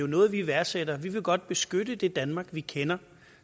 noget vi værdsætter vi vil godt beskytte det danmark vi kender